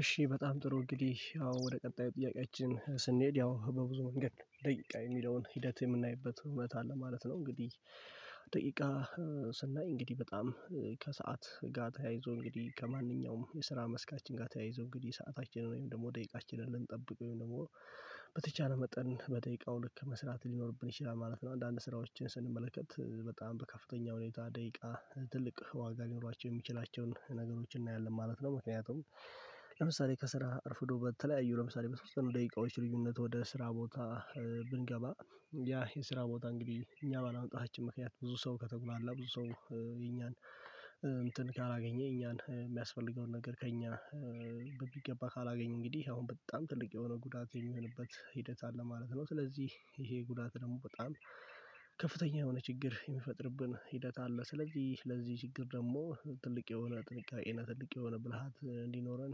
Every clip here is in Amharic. እሺ በጣም ጥሩ እንግዲህ ያው ወደ ቀጣዩ ጥያቄያችን ስንሄድ ያው በብዙ መንገድ ደቂቃ የሚለውን ሂደት የምናይበት ሁነታ ለማለት ነው እንግዲህ ደቂቃ ስናይ እንግዲህ በጣም ከሰአት ጋር ተያይዞ እንግዲህ ከማንኛውም የስራ መስካችን ጋር ተያይዞ እንግዲህ ሰአታችንን ወይም ደግሞ ደቂቃችንን ልንጠብቀው ወይም ደግሞ በተቻለ መጠን በደቂቃው ልክ መስራት ሊኖርብን ይችላል ማለት ነው። አንዳንድ ስራዎችን ስንመለከት በጣም በከፍተኛ ሁኔታ ደቂቃ ትልቅ ዋጋ ሊኖራቸው የሚችላቸውን ነገሮችን እናያለን ማለት ነው። ምክንያቱም ለምሳሌ ከስራ እርፍዶ በተለያዩ ለምሳሌ በሶስት ደቂቃዎች ልዩነት ወደ ስራ ቦታ ብንገባ ያ የስራ ቦታ እንግዲህ እኛ ባለመውጣታችን ምክንያት ብዙ ሰው ከተጉላላ ብዙ ሰው የኛን እንትን ካላገኘ የኛን የሚያስፈልገውን ነገር ከእኛ በሚገባ ካላገኘ እንግዲህ አሁን በጣም ትልቅ የሆነ ጉዳት የሚሆንበት ሂደት አለ ማለት ነው። ስለዚህ ይሄ ጉዳት ደግሞ በጣም ከፍተኛ የሆነ ችግር የሚፈጥርብን ሂደት አለ ስለዚህ ለዚህ ችግር ደግሞ ትልቅ የሆነ ጥንቃቄ እና የሆነ ብልሃት እንዲኖረን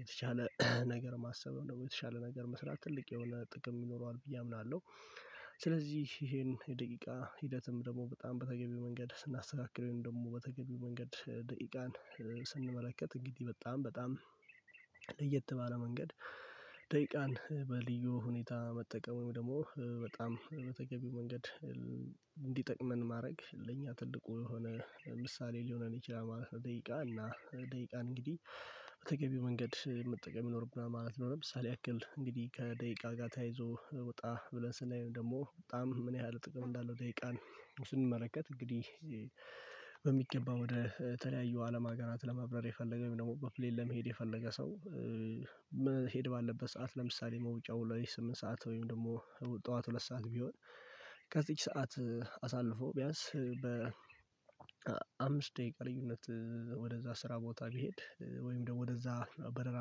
የተቻለ ነገር ማሰብ የተቻለ ነገር መስራት ትልቅ የሆነ ጥቅም ይኖረዋል ብዬ አምናለሁ። ስለዚህ ይሄን የደቂቃ ሂደትም ደግሞ በጣም በተገቢው መንገድ ስናስተካክለው ደግሞ በተገቢው መንገድ ደቂቃን ስንመለከት እንግዲህ በጣም በጣም ለየት ባለ መንገድ ደቂቃን በልዩ ሁኔታ መጠቀም ወይም ደግሞ በጣም በተገቢው መንገድ እንዲጠቅመን ማድረግ ለእኛ ትልቁ የሆነ ምሳሌ ሊሆነን ይችላል ማለት ነው። ደቂቃ እና ደቂቃን እንግዲህ በተገቢው መንገድ መጠቀም ይኖርብናል ማለት ነው። ለምሳሌ ያክል እንግዲህ ከደቂቃ ጋር ተያይዞ ወጣ ብለን ስናየው ደግሞ በጣም ምን ያህል ጥቅም እንዳለው ደቂቃን ስንመለከት እንግዲህ በሚገባ ወደ ተለያዩ አለም አገራት ለመብረር የፈለገ ወይም ደግሞ በፕሌይ ለመሄድ የፈለገ ሰው መሄድ ባለበት ሰዓት ለምሳሌ መውጫው ላይ ስምንት ሰዓት ወይም ደግሞ ጠዋት ሁለት ሰዓት ቢሆን ከዚች ሰዓት አሳልፎ ቢያንስ በ አምስት ደቂቃ ልዩነት ወደዛ ስራ ቦታ ቢሄድ ወይም ደግሞ ወደዛ በረራ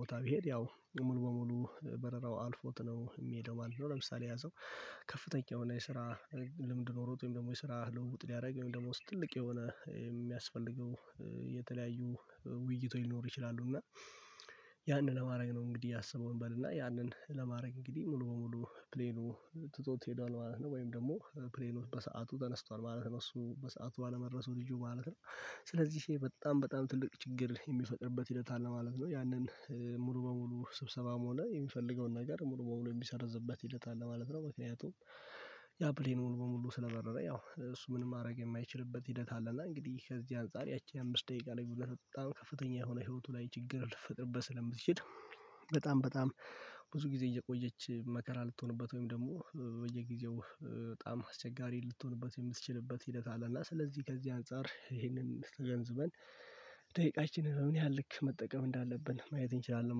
ቦታ ቢሄድ ያው ሙሉ በሙሉ በረራው አልፎት ነው የሚሄደው ማለት ነው። ለምሳሌ ያሰው ከፍተኛ የሆነ የስራ ልምድ ኖሮት ወይም ደግሞ የስራ ለውጥ ሊያደርግ ደግሞ ስትልቅ የሆነ የሚያስፈልገው የተለያዩ ውይይቶች ሊኖር ይችላሉ እና ያንን ለማድረግ ነው እንግዲህ ያሰበውን እንበልና ያንን ለማድረግ እንግዲህ ሙሉ በሙሉ ፕሌኑ ትቶት ሄዷል ነው ወይም ደግሞ ፕሌኖት በሰአቱ ተነስቷል ማለት ነው። እሱ በሰአቱ ባለመድረሱ ልጁ ማለት ነው። ስለዚህ ሴ በጣም በጣም ትልቅ ችግር የሚፈጥርበት ሂደት አለ ማለት ነው። ያንን ሙሉ በሙሉ ስብሰባም ሆነ የሚፈልገውን ነገር ሙሉ በሙሉ የሚሰረዝበት ሂደትአለ ማለት ነው። ምክንያቱም ያ ፕሌን ሙሉ በሙሉ ስለበረረ ያው እሱ ምን ማድረግ የማይችልበት ሂደት አለ። እና እንግዲህ ከዚህ አንፃር ያቺ አምስት ደቂቃ ላይ ብሎ በጣም ከፍተኛ የሆነ ህይወቱ ላይ ችግር ልፈጥርበት ስለምትችል በጣም በጣም ብዙ ጊዜ እየቆየች መከራ ልትሆንበት ወይም ደግሞ በየጊዜው በጣም አስቸጋሪ ልትሆንበት የምትችልበት ሂደት አለ እና ስለዚህ ከዚህ አንፃር ይሄንን ስተገንዝበን ደቂቃችንን ምን ያህል ልክ መጠቀም እንዳለብን ማየት እንችላለን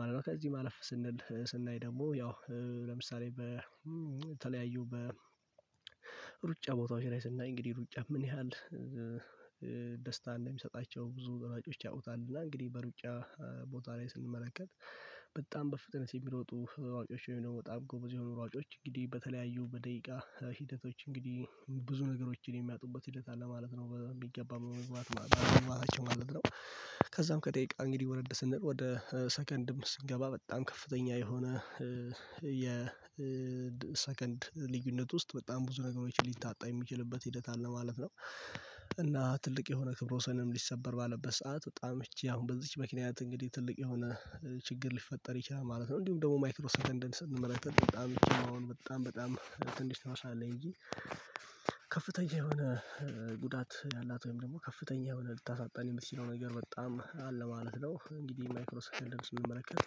ማለት ነው። ከዚህ ማለፍ ስንል ስናይ ደግሞ ያው ለምሳሌ በተለያዩ በሩጫ ቦታዎች ላይ ስናይ እንግዲህ ሩጫ ምን ያህል ደስታ እንደሚሰጣቸው ብዙ ሯጮች ያውቁታል እና እንግዲህ በሩጫ ቦታ ላይ ስንመለከት በጣም በፍጥነት የሚሮጡ ሯጮች ወይም ደግሞ በጣም ጎበዝ የሆኑ ሯጮች እንግዲህ በተለያዩ በደቂቃ ሂደቶች እንግዲህ ብዙ ነገሮችን የሚያጡበት ሂደት አለ ማለት ነው። በሚገባው ማለት ነው። ከዛም ከቀቂቃ እንግዲህ ወረድ ወደ ሰከንድም ስንገባ በጣም ከፍተኛ የሆነ ሰከንድ ልዩነት ውስጥ በጣም ብዙ ነገሮች ሊታጣ የሚችልበት ሂደት አለ ማለት ነው። እና ትልቅ የሆነ ክብረ ወሰንም ሊሰበር ባለበት ሰዓት በጣም እቺ አሁን በዚች ምክንያት እንግዲህ ትልቅ የሆነ ችግር ሊፈጠር ይችላል ማለት ነው። እንዲሁም ደግሞ ማይክሮ ሰከንደን ስንመለከት በጣም በጣም ትንሽ ትመስላለይ እንጂ ከፍተኛ የሆነ ጉዳት ያላት ወይም ደግሞ ከፍተኛ የሆነ ልታሳጣን የምትችለው ነገር በጣም አለ ማለት ነው። እንግዲህ ማይክሮ ሰከንድ ስንመለከት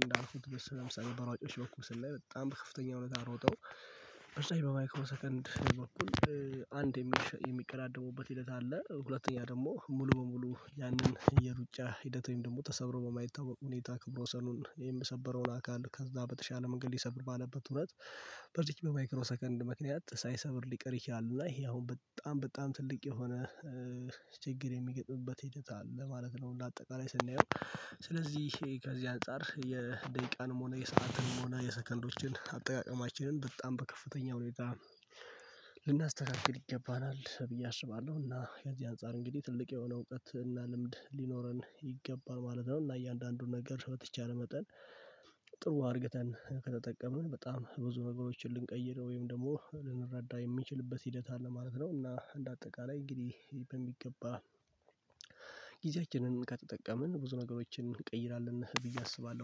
እንዳልኩት በሰኔ መቶ ሺህ በሯጮች በኩል ላይ በጣም በከፍተኛ እውነት ሮጠው በዛኛው በማይክሮ ሰከንድ በኩል አንድ የሚቀዳደሙበት ሂደት አለ። ሁለተኛ ደግሞ ሙሉ በሙሉ ያንን የሩጫ ሂደት ወይም ደግሞ ተሰብሮ በማይታወቅ ሁኔታ ክብረ ወሰኑን የምሰበረውን አካል ከዛ በተሻለ መንገድ ሊሰብር ባለበት እውነት በዝች በማይክሮ ሰከንድ ምክንያት ሳይሰብር ሊቀር ይችላል። እና ይሄ አሁን በጣም በጣም ትልቅ የሆነ ችግር የሚገጥምበት ሂደት አለ ማለት ነው። እንደ አጠቃላይ ስናየው ስለዚህ ከዚህ አንፃር የደቂቃንም ሆነ የሰአትንም ሆነ የሰከንዶችን አጠቃቀማችንን በጣም በከፍተኛ ሁኔታ ልናስተካክል ይገባናል ብዬ አሽባለሁ። እና ከዚህ አንፃር እንግዲህ ትልቅ የሆነ እውቀት እና ልምድ ሊኖረን ይገባል ማለት ነው። እና እያንዳንዱን ነገር በተቻለ መጠን ጥሩ አርግተን ከተጠቀምን በጣም ብዙ ነገሮችን ልንቀይር ወይም ደግሞ ልንረዳ የሚችልበት ሂደት አለ ማለት ነው። እና እንደ አጠቃላይ እንግዲህ በሚገባ ጊዜያችንን ከተጠቀምን ብዙ ነገሮችን እንቀይራለን ብዬ አስባለሁ